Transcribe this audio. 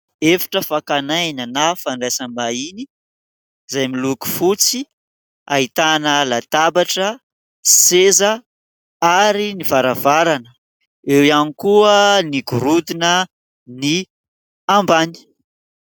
Efitra fakan'aina na fandraisam-bahiny izay miloko fotsy ahitana latabatra, seza ary ny varavarana, eo ihany koa ny gorodona ny ambany.